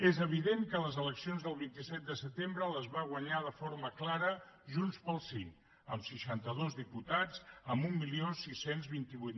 és evident que les eleccions del vint set de setembre les va guanyar de forma clara junts pel sí amb seixanta dos diputats amb setze vint vuit